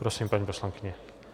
Prosím, paní poslankyně.